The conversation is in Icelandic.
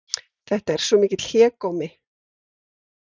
Þetta er svo mikill hégómi